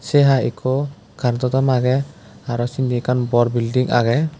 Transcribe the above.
se ai ekku current o thom age aro sindi ekkan bor building age.